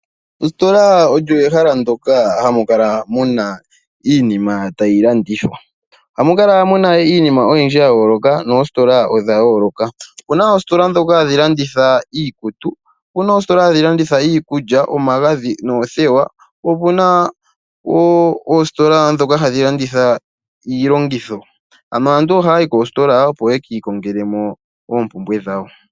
Ositola olyo ehala ndyoka hamu kala muna iinima tayi landithwa, ohamu kala muna iinima oyindji ya yooloka noositola odha yooloka. Opuna oositola ndhoka hadhi landitha iikutu opuna oostola hadhi landitha iikulya, omagadhi noothewa po opuna ndhoka hadhi landitha iilongitho, aantu ohaya yi koositola opo ye kiikongele mo oompumbwe dhawo.